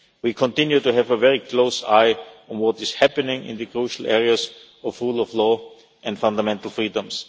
We continue to have a very close eye on what is happening in the crucial areas of rule of law and fundamental freedoms.